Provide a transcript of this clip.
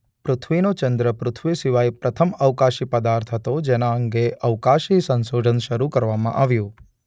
પૃથ્વીનો ચંદ્ર પૃથ્વી સિવાય પ્રથમ અવકાશી પદાર્થ હતો જેના અંગે અવકાશી સંશોધન શરૂ કરવામાં આવ્યું.